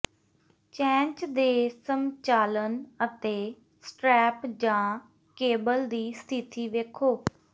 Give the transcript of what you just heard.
ਚੈਂਚ ਦੇ ਸੰਚਾਲਨ ਅਤੇ ਸਟ੍ਰੈਪ ਜਾਂ ਕੇਬਲ ਦੀ ਸਥਿਤੀ ਵੇਖੋ